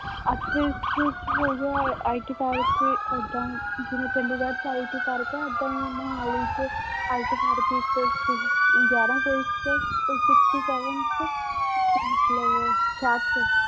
ਅੱਠ ਵਿਸਵੇ ਚ ਹੋ ਗਿਆ IT ਪਰ ਇੱਥੇ ਏਦਾਂ ਜਿਵੇਂ ਚੰਡੀਗੜ੍ਹ ਚ IT ਪਾਰਕ ਆ ਏਦਾਂ ਹੀ ਮੁਹਾਲੀ ਚ IT ਪਾਰਕ ਇੱਕ ਗਿਆਰਾਂ sixty seven ਚ ਮਤਲਬ